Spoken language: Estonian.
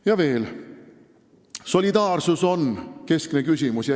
Ja veel: solidaarsus on keskne küsimus.